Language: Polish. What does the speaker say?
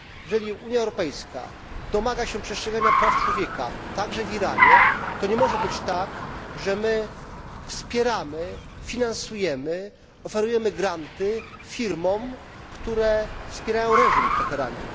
Jeżeli Unia Europejska domaga się przestrzegania praw człowieka, także w Iranie, to nie może być tak, że wspieramy, finansujemy, oferujemy granty firmom, które wspierają reżim w Teheranie.